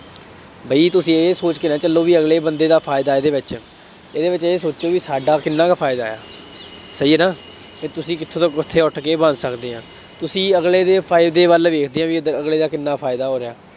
ਬਈ ਤੁਸੀਂ ਇਹ ਸੋਚ ਕੇ ਨਾ ਚੱਲੋ ਬਈ ਅਗਲੇ ਬੰਦੇ ਦਾ ਫਾਇਦਾ ਇਹਦੇ ਵਿੱਚ, ਇਹਦੇ ਵਿੱਚ ਇਹ ਸੋਚੋ ਬਈ ਸਾਡਾ ਕਿੰਨਾ ਕੁ ਫਾਇਦਾ, ਸਹੀ ਹੈ ਨਾ, ਫੇਰ ਤੁਸੀਂ ਕਿੱਥੇ ਤੋਂ ਕਿੱਥੇ ਉੱਠ ਕੇ ਬਣ ਸਕਦੇ ਆਂ, ਤੁਸੀਂ ਅਗਲੇ ਦੇ ਫਾਇਦੇ ਵੱਲ ਵੇਖਦੇ ਆ ਬਈ ਏਦਾਂ ਅਗਲੇ ਦਾ ਕਿੰਨਾ ਫਾਇਦਾ ਹੋ ਰਿਹਾ।